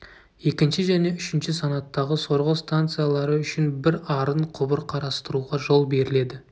екінші және үшінші санаттағы сорғы станциялары үшін бір арын құбыр қарастыруға жол беріледі